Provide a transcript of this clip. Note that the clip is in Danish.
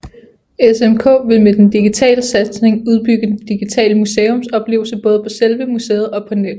SMK ville med den digitale satsning udbygge den digitale museumsoplevelse både på selve museet og på nettet